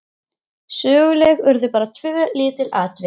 Söguleg urðu bara tvö lítil atvik.